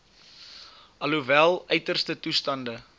alhoewel uiterste toestande